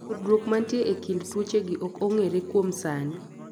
tudruod manitie e kind tuochegi ok ong'ere kuom sani